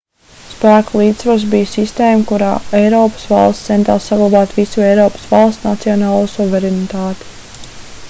spēku līdzsvars bija sistēma kurā eiropas valstis centās saglabāt visu eiropas valstu nacionālo suverenitāti